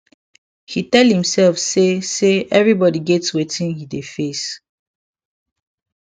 he tell himself say say everybody get watin he dey face